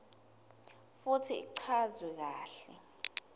futsi ichazwe kahle